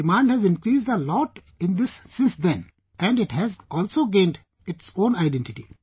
Demand has increased a lot in this since then... and it has also gained its own identity